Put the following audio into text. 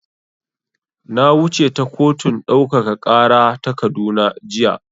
Na wuce ta kotun ɗaukaka ƙara ta Kaduna jiya.